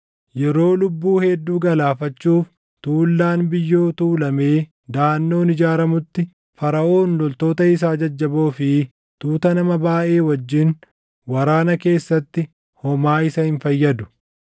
Yeroo lubbuu hedduu galaafachuuf tuullaan biyyoo tuulamee daʼannoon ijaaramutti, Faraʼoon loltoota isaa jajjaboo fi tuuta nama baayʼee wajjin waraana keessatti homaa isa hin fayyadu.